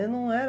Eu não era.